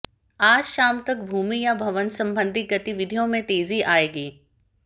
आज शाम तक भूमि या भवन सम्बन्धी गतिविधियों में तेजी आएगी